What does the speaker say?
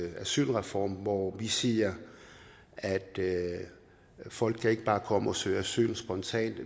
en asylreform hvor vi siger at folk ikke bare kan komme og søge asyl spontant